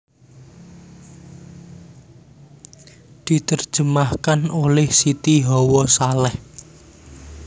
Diterjemahkan oleh Siti Hawa Salleh